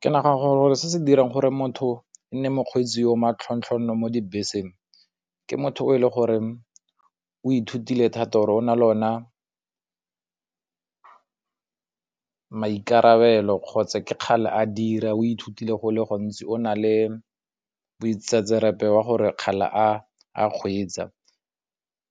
Ke nagana gore se se dirang gore motho e nne mokgweetsi yo o matlhontlhonono mo dibeseng, ke motho o e leng gore o ithutile thata or o na lona maikarabelo kgotsa ke kgale a dira o ithutile go le gontsi o na le boitsetserepe ba gore kgala a kgweetsa.